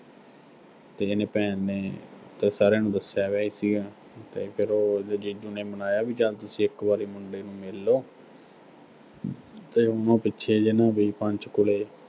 ਤੇ ਇਹਨੇ ਭੈਣ ਨੇ ਤਾਂ ਸਾਰਿਆਂ ਨੂੰ ਦੱਸਿਆ ਬਿਆ ਹੀ ਸੀਗਾ, ਤੇ ਫਿਰ ਉਹੋ ਜੀਜੂ ਨੇ ਮਨਾਇਆ ਵੀ ਚਲ ਤੁਸੀਂ ਇੱਕ ਵਾਰੀ ਮੁੰਡੇ ਨੂੰ ਮਿਲ ਲੋ। ਤੇ ਉਹੋ ਪਿੱਛੇ ਜੇ ਉਹਨੂੰ ਬਈ ਪੰਚਕੂਲੇ